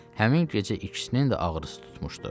Həmin gecə ikisinin də ağrısı tutmuşdu.